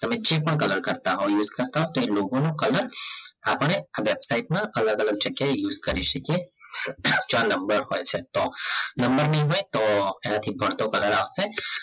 તમે જે પણ color કરતાં હો તો એલોકો નો color કલર આપણે આ વેબસાઇટ માં આલગ આલગ જાગીય આ use કરી સાકીએ ચાર નંબર હોય છે તો નંબર નહીં હોય તો એના થી ભડતો કલર આવસે